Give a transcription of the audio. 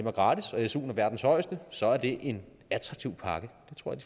er gratis og suen er verdens højeste så er det en attraktiv pakke